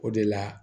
O de la